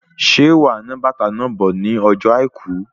Ṣe wà ná bàtá náà bò ní ọjọ àìkú?